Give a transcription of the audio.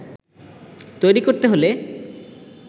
তৈরি করতে হলে